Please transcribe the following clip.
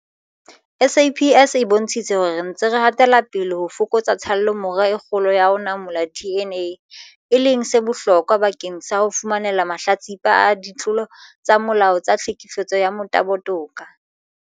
SAPS e bontshitse hore re ntse re hatela pele ho fokotsa tshallomora e kgolo ya ho manolla DNA, e leng se bohlokwa bakeng sa ho fumanela mahlatsipa a ditlolo tsa molao tsa tlhekefetso ya motabo toka.